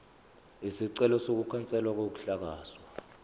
isicelo sokukhanselwa kokuhlakazwa